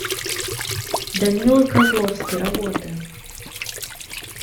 данила козловский работы